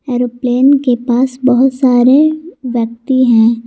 Aeroplane के पास बहोत सारे व्यक्ति हैं।